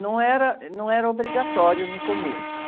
Não era, não era obrigatório no começo.